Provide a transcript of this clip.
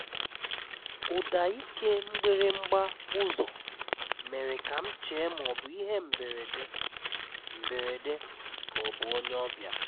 Ụ́dá íké mgbirímgbá ụ́zọ́ mèré ká m chéé má ọ́ bụ̀ íhé mbérédé mbérédé ká ọ́ bụ̀ ónyé ọ́bịà.